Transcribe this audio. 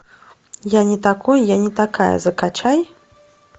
я не такой я не такая закачай